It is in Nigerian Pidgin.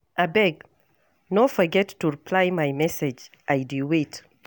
Abeg, no forget to reply my message, I dey wait.